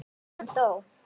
Hann dó.